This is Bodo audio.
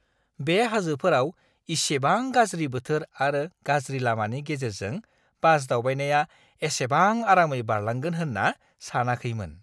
बे हाजोफोराव इसेबां गाज्रि बोथोर आरो गाज्रि लामानि गेजेरजों बास दावबायनाया एसेबां आरामै बारलांगोन होनना सानाखैमोन!